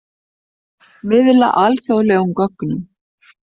Miðla alþjóðlegum gögnum